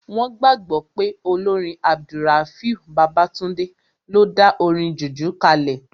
Wọ́n gbàgbọ́ pé olórin AbdulRafiu Babatunde ló dá orin jùjú kalẹ̀